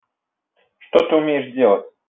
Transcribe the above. что ты умеешь делать